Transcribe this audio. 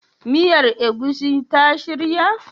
Miyar egusi ta shirya?